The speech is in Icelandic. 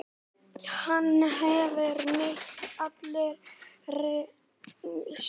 Hann hefur neitað allri sök.